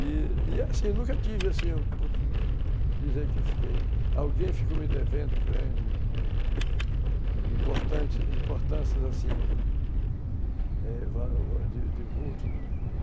E, assim, nunca tive, assim, a oportunidade de dizer que eu fiquei... Alguém ficou me devendo grande, importantes, importâncias, assim, é, de de vulto.